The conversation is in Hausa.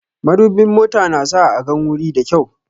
Madubin mota na sa a gan wuri da kyau